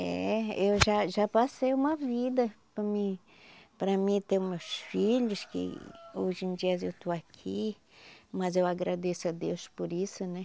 É, eu já já passei uma vida para mim para mim ter meus filhos, que hoje em dias eu estou aqui, mas eu agradeço a Deus por isso, né?